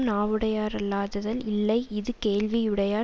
நாவுடையாரல்லாதலல் இல்லை இது கேள்வியுடையார்